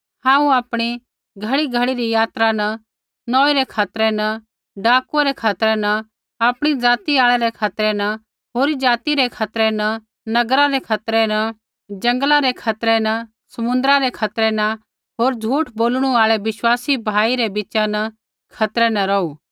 हांऊँ आपणी घड़ीघड़ी री सफरा न नौई रै खतरै न डाकुऐ रै खतरै न आपणी ज़ाति आल़ै रै खतरै न होरी ज़ाति रै खतरै न नगरा रै खतरै न जंगला रै खतरै न समुन्द्रा रै खतरै न होर झूठ बोलणु आल़ै विश्वासी भाई रै बीचा न खतरै न रौहु